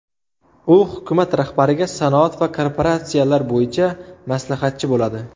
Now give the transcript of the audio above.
U hukumat rahbariga sanoat va kooperatsiyalar bo‘yicha maslahatchi bo‘ladi.